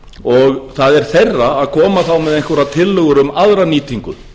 og það er þeirra að koma þá með einhverjar tillögur um aðra nýtingu